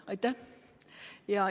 Aitäh!